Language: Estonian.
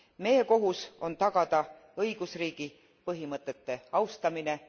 Meie kohus on tagada õigusriigi põhimõtete austamine.